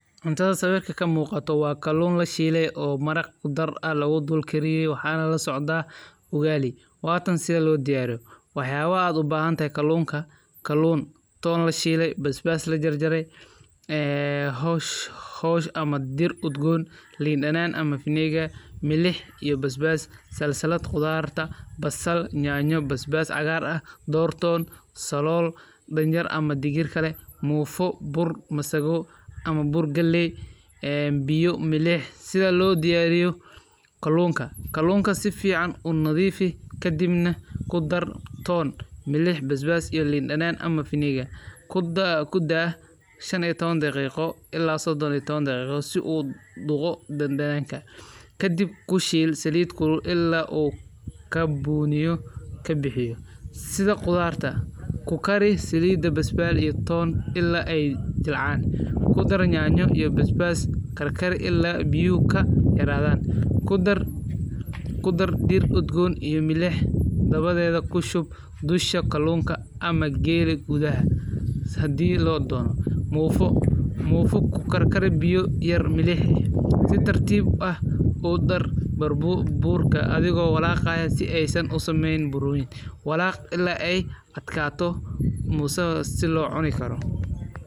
Cuntada sawirka ka muuqato waa kaloon la shiileysan oo maraq aa kudar ah lagu guul keliya waxaan lala socdaa Ugali. Waatan sii loo diyaariyo. Waxyaabo aad u baahan tae kaloonka. Kaloon toon la shiilay basbaas la jajray. Eh hosh hosh ama dir udgoon liidhanaan ama vinegar milix iyo basbaas. Salsalad khudaarta. Bassal, nyaanyo, basbaas, agaar ah door toon, solol, danjar ama digir kale, muufa, bur masagu ama bur gelliy eh biyu milix. Sida loo diyaariyo kaloonka. Kaloonka si fiican u nadiifii ka dibna ku dar toon, milix, basbaas iyo liidhanaan ama vinegar. Ku dha 15 daqiiqo ilaa 30 daqiiqo si uu dugotay dandaanka. Ka dib ku shiil saliid kulul illa oo ka buuniyo, ka bixiyo. Sida khudaarta. Ku kari saliida basbaal iyo toon illa ay jilcaan. Ku dar nyaanyo iyo basbaas. Karkar illa biuu ka xiraadaan. Ku dar ku dar dir udgoon iyo milix. Dabadeeda ku shub dusha kaloonka ama geerig gudaheh. Saadii loo doono muufa. Muufa ku karkar biyoy yar milig. Si tartiib ah u dar barbuub buurka adigo walaqa ah si aysan u sameyn buruun. Walaac illaa ay adka toos moosa si loo cuni karo.